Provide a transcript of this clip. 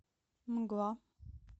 мгла